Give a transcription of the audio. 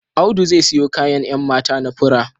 Audu zai siyo kayan 'yan mata na fura